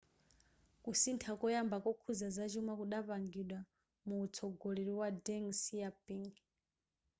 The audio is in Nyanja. kusintha koyamba kokhuza zachuma kudapangidwa muwutsogoleri wa a deng xiaoping